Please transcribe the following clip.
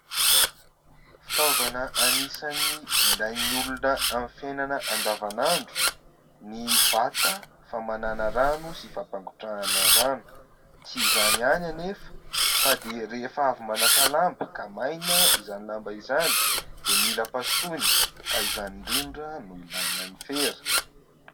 Fitaovana anisan'ny ilain'ny olona amin'ny fiainana andavanandro ny vata famanana rano sy fampangotrahana rano. Tsy izany ihany anefa fa dia rehefa avy manasa lamba, ka maina izany lamba izany, dia mila pasohana ka izany indrindra no ilaina ny fera.